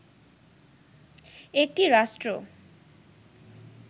একটি রাষ্ট্র